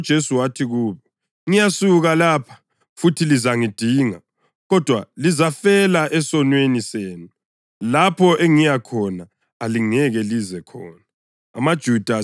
Waphinda njalo uJesu wathi kubo, “Ngiyasuka lapha, futhi lizangidinga, kodwa lizafela esonweni senu. Lapho engiyakhona alingeke lize khona.”